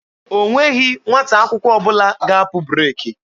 O nweghị nwata akwụkwọ ọbụla ga-apụ breeki.